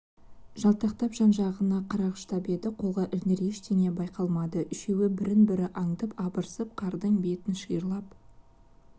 жалтақтап жан-жағын қарағыштап еді қолға ілігер ештеңе байқалмады үшеуі бірін-бірі аңдып арбасып қардың бетін шиырлап